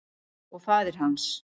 Og faðir hans.